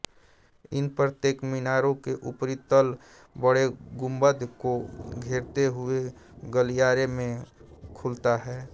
इन प्रत्येक मीनारों के ऊपरी तल बड़े गुम्बद को घेरते हुए गलियारे में खुलता है